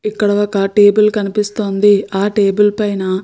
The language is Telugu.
ఇక్కడ ఒక టెబుల్ కనిపిస్తుంది. ఆ టెబుల్ పైన --